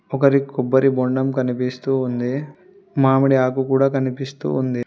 ఒకరి కొబ్బరి బోండం కనిపిస్తూ ఉంది మామిడి ఆకు కూడ కనిపిస్తూ ఉంది.